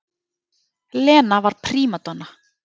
Lena var prímadonna.